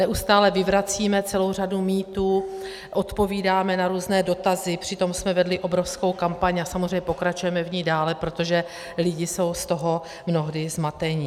Neustále vyvracíme celou řadu mýtů, odpovídáme na různé dotazy, přitom jsme vedli obrovskou kampaň a samozřejmě pokračujeme v ní dále, protože lidi jsou z toho mnohdy zmateni.